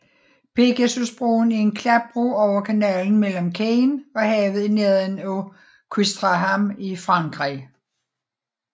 Pegasusbroen er en klapbro over kanalen mellem Caen og havet i nærheden af Ouistreham i Frankrig